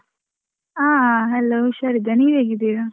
ಹಾ hello ಹುಷಾರಿದ್ದೇನೆ, ನೀವ್ ಹೇಗಿದ್ದೀರಾ?